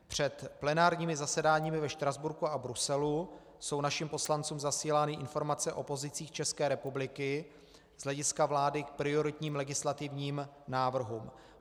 Před plenárními zasedáními ve Štrasburku a Bruselu jsou našim poslancům zasílány informace o pozicích České republiky z hlediska vlády k prioritním legislativním návrhům.